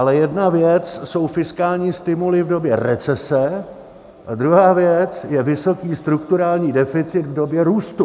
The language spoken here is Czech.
Ale jedna věc jsou fiskální stimuly v době recese a druhá věc je vysoký strukturální deficit v době růstu.